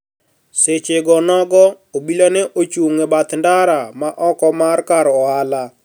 Seche go nogo, obila ne ochung ' e bath ndara ma oko mar kar ohala